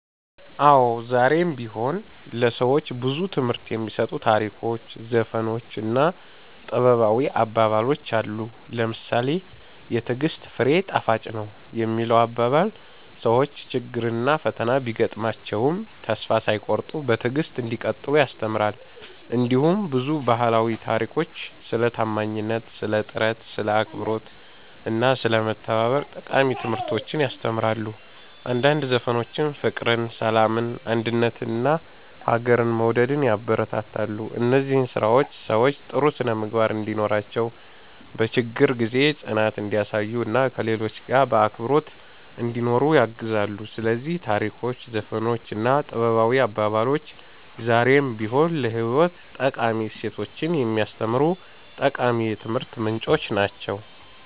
አዎ፣ ዛሬም ቢሆን ለሰዎች ብዙ ትምህርት የሚሰጡ ታሪኮች፣ ዘፈኖች እና ጥበባዊ አባባሎች አሉ። ለምሳሌ ‘የትዕግሥት ፍሬ ጣፋጭ ነው’ የሚለው አባባል ሰዎች ችግርና ፈተና ቢያጋጥማቸውም ተስፋ ሳይቆርጡ በትዕግሥት እንዲቀጥሉ ያስተምራል። እንዲሁም ብዙ ባህላዊ ታሪኮች ስለ ታማኝነት፣ ስለ ጥረት፣ ስለ አክብሮት እና ስለ መተባበር ጠቃሚ ትምህርቶችን ያስተምራሉ። አንዳንድ ዘፈኖችም ፍቅርን፣ ሰላምን፣ አንድነትን እና ሀገርን መውደድን ያበረታታሉ። እነዚህ ስራዎች ሰዎች ጥሩ ስነ-ምግባር እንዲኖራቸው፣ በችግር ጊዜ ጽናት እንዲያሳዩ እና ከሌሎች ጋር በአክብሮት እንዲኖሩ ያግዛሉ። ስለዚህ ታሪኮች፣ ዘፈኖች እና ጥበባዊ አባባሎች ዛሬም ቢሆን ለህይወት ጠቃሚ እሴቶችን የሚያስተምሩ ጠቃሚ የትምህርት ምንጮች ናቸው።"